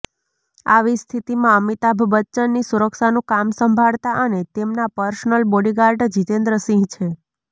આવી સ્થિતિમાં અમિતાભ બચ્ચનની સુરક્ષાનું કામ સંભાળતા અને તેમના પર્સનલ બોડીગાર્ડ જીતેન્દ્રસિંહ છે